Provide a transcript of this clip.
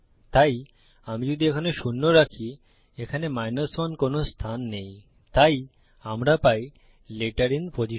তাই আমি যদি এখানে শূন্য রাখি এখানে 1 কোনো স্থান নেই তাই আমরা পাই লেটার আইএন পজিশন